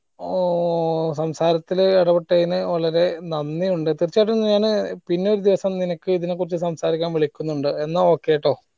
ഓ ഏർ സംസാരത്തില് ഇടപെട്ടയിന് വളരെ നന്ദി ഉണ്ട് തീർച്ചയായിട്ടും ഞാന് പിന്നെ ഒരു ദിവസം നിനക്ക് ഇതിനെക്കുറിച് സംസാരിക്കാൻ വിളിക്കുന്നുണ്ട് എന്ന okay ട്ടോ